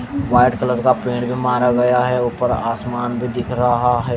White colour का paint भी मारा गया है ऊपर आसमान भी दिख रहा है।